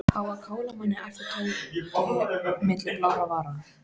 Á að kála manni æpti Tóti milli blárra vara.